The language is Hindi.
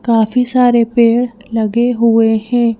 काफी सारे पेड़ लगे हुए हैं।